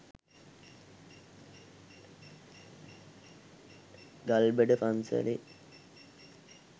ගල්බඩ පන්සලේ